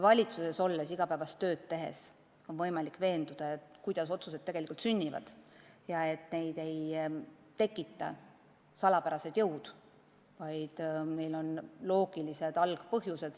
Valitsuses olles igapäevast tööd tehes on võimalik näha, kuidas otsused tegelikult sünnivad ja et neid ei tekita salapärased jõud, vaid neil on loogilised algpõhjused.